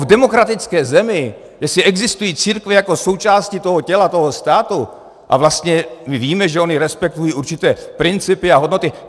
V demokratické zemi, jestli existují církve jako součást toho těla, toho státu, a vlastně my víme, že ony respektují určité principy a hodnoty.